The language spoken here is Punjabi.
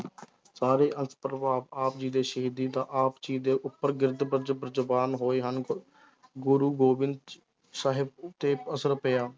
ਆਪ ਜੀ ਦੇ ਸ਼ਹੀਦੀ ਦਾ ਆਪ ਜੀ ਦੇ ਜਵਾਨ ਹੋਏ ਹਨ ਗ~ ਗੁਰੂ ਗੋਬਿੰਦ ਸਾਹਿਬ ਉੱਤੇ ਅਸਰ ਪਿਆ।